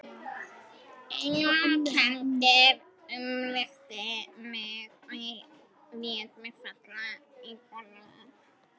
Einmanakenndin umlukti mig og ég lét mig falla í gólfið.